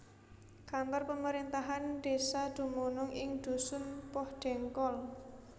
Kantor pemerintahan desa dumunung ing dusun Pohdengkol